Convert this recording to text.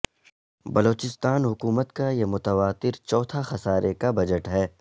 بلوچستان حکومت کا یہ متواتر چوتھا خسارے کا بجٹ ہے